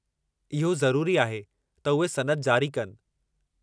इहो ज़रूरी आहे त उहे सनद जारी कनि।